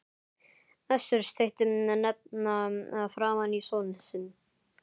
Össur steytti hnefa framan í son sinn.